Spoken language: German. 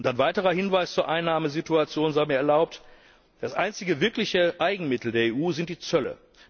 Ein weiterer Hinweis zur Einnahmensituation sei mir erlaubt Das einzige wirkliche Eigenmittel der EU sind die Zölle.